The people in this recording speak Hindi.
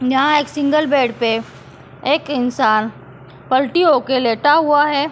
यहां एक सिंगल बेड पे एक इंसान पलटी होकर लेटा हुआ है।